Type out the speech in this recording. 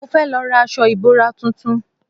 Mo fẹ́ lọ ra aṣọ ìbora tuntun